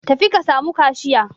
Tafi ka samu kashiya.